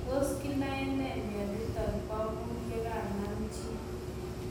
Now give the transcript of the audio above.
Tos kinae nee mionitok poo muut yekanaam chii?